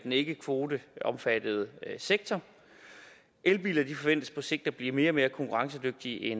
ikkekvoteomfattede sektor elbiler forventes på sigt at blive mere og mere konkurrencedygtige i